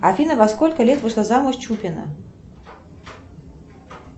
афина во сколько лет вышла замуж чупина